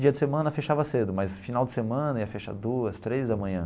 Dia de semana fechava cedo, mas final de semana ia fechar duas, três da manhã.